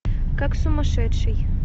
как сумасшедший